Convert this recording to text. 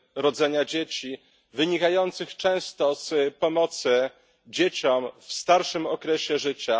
rodzenia dzieci, wynikających często z pomocy dzieciom w starszym okresie życia.